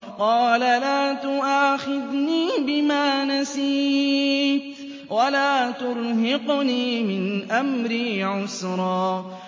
قَالَ لَا تُؤَاخِذْنِي بِمَا نَسِيتُ وَلَا تُرْهِقْنِي مِنْ أَمْرِي عُسْرًا